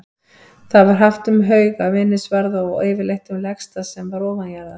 Það var haft um hauga, minnisvarða og yfirleitt um legstað sem var ofanjarðar.